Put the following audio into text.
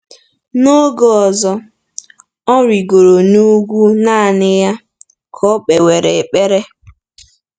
N’oge ọzọ, “ọ rịgoro n’ugwu naanị ya ka o kpewere ekpere.”